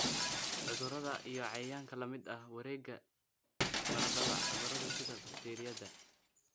cudurada iyo cayayaanka la mid ah wareega baradhada. Cudurada sida bakteeriyada